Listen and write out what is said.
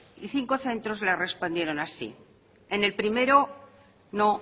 y cinco centros le respondieron así en el primero no